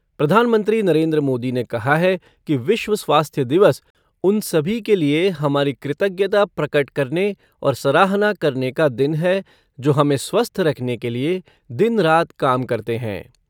प्रधानमंत्री नरेन्द्र मोदी ने कहा है कि विश्व स्वास्थ्य दिवस उन सभी के लिए हमारी कृतज्ञता प्रकट करने और सराहना करने का दिन है जो हमे स्वस्थ रखने के लिए दिन रात काम करते है।